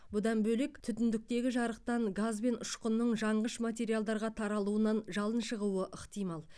бұдан бөлек түтіндіктегі жарықтан газ бен ұшқынның жанғыш материалдарға таралуынан жалын шығуы ықтимал